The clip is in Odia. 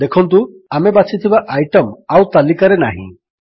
ଦେଖନ୍ତୁ ଆମେ ବାଛିଥିବା ଆଇଟମ୍ ଆଉ ତାଲିକାରେ ନାହିଁ